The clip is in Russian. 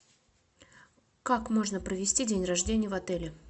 как можно провести день рождения в отеле